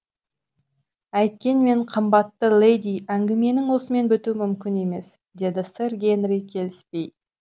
әйткенмен қымбатты леди әңгіменің осымен бітуі мүмкін емес деді сэр генри келіспей